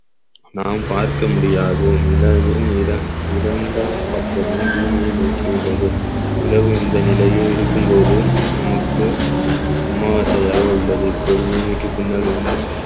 நாம் பார்க்க முடியாது நிலவில் இரண்~ இரண்டாம் பக்கமே பூமியை நோக்கி உள்ளது நிலவு இந்த நிலையே இருக்கும்போது நமக்கு அமாவாசையாக உள்ளது இப்பொழுது பூமிக்கு பின்னாலும்